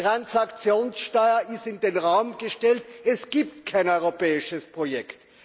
Die Transaktionssteuer ist in den Raum gestellt, es gibt kein europäisches Projekt.